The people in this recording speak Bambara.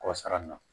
Kɔsa in na